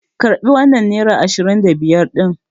Karɓi wannan nera ashirin da biyar ɗin!